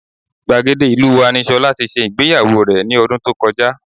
Gbàgede ìlú wa ni Ṣọlá tí ṣe ìgbéyàwó rẹ̀ ní ọdún tó kọjá